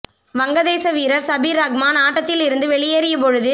வங்க தேச வீரர் சபிர் ரஹ்மான் ஆட்டத்தில் இருந்து வெளியேறிய பொழுது